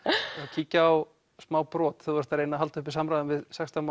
kíkjum á smá brot þegar þú ert að reyna að halda uppi samræðum við sextán